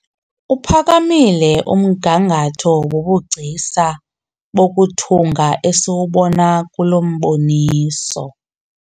Uphakamile umgangatho wobugcisa bokuthunga esiwubona kulo mboniso.